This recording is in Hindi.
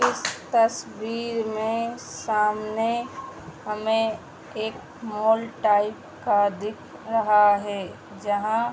इस तस्वीर में सामने हमें एक मॉल टाइप का दिख रहा है जहाँ --